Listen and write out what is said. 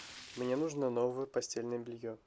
мне нужно новое постельное белье